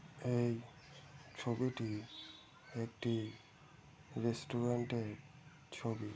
এই ছবিটি একটি রেস্টুরেন্ট এর ছবি।